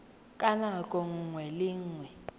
ka nako nngwe le nngwe